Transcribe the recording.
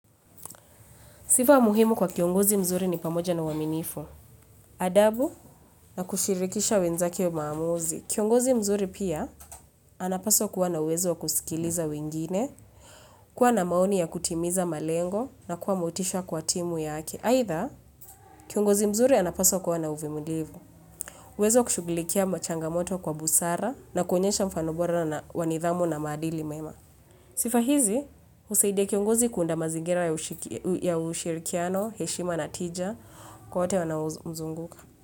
Sifa muhimu kwa kiongozi mzuri ni pamoja na uaminifu. Adabu na kushirikisha wenzake maamuzi. Kiongozi mzuri pia, anapaswa kuwa na uwezo kusikiliza wengine, kuwa na maoni ya kutimiza malengo na kuwa motisha kwa timu yake. Aidha, kiongozi mzuri anapaswa kuwa na uvumilivu. Uwezo wa kushughulikia machangamoto kwa busara na kuonyesha mfano bora na wa nidhamu na maadili mema. Sifa hizi, husaidia kiongozi kuunda mazingira ya ushirikiano, heshima na tija, kwa wote wanaomzunguka.